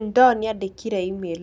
Jane Doe nĩandĩkĩire e-mail.